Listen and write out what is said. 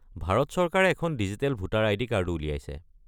ভাৰত চৰকাৰে এখন digital voter ID. কাৰ্ডো উলিয়াইছে।